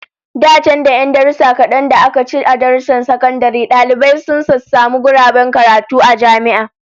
Da can, da 'yan darussan kadan da aka ci a darussan sakandare, dalibai sun sassamu guraben karatu a jami'a